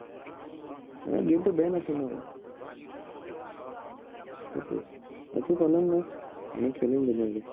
এৰ game টো banned আছে ন সেইটোৱেই। বাকী problem নাই। আমি খেলিম ধুনীয়াকে।